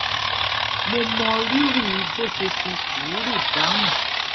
mo mọ rírì bó ṣe fi sùúrù dáhùn